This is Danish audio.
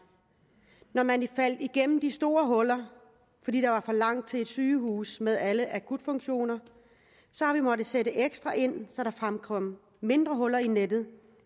når man faldt igennem de store huller fordi der var for langt til et sygehus med alle akutfunktioner har vi måttet sætte ekstra ind så der fremkom mindre huller i nettet